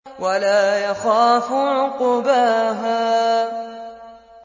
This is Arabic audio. وَلَا يَخَافُ عُقْبَاهَا